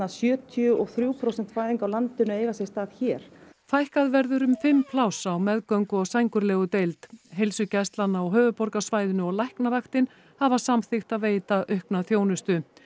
sjötíu og þrjú prósent fæðinga á landinu eiga sér stað hér fækkað verður um fimm pláss á meðgöngu og sængurlegudeild heilsugæslan á höfuðborgarsvæðinu og Læknavaktin hafa samþykkt að veita aukna þjónustu